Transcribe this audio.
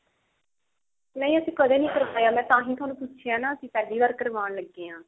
ਨਹੀਂ ਅਸੀਂ ਕਦੇ ਨੀ ਕਰਾਇਆ ਤਾਂ ਹੀ ਤੁਹਾਨੂੰ ਪੁੱਛਿਆ ਨਾ ਕੀ ਪਹਿਲੀ ਵਾਰ ਕਰਵਾਉਣ ਲੱਗੀ ਹਾਂ